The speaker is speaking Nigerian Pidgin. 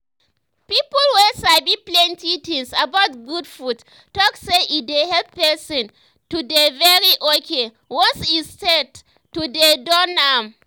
people wey sabi plenty things about good food talk say e dey help person to dey very okay once e start to dey do am